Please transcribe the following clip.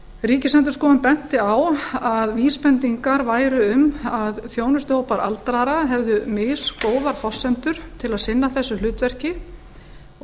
ríkisendurskoðun benti á að vísbendingar væru um að þjónustuhópar aldraðra hefðu misgóðar forsendur til að sinna þessu hlutverk og